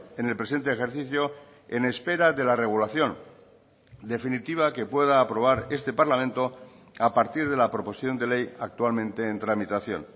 en el presente ejercicio en espera de la regulación definitiva que pueda aprobar este parlamento a partir de la proposición de ley actualmente en tramitación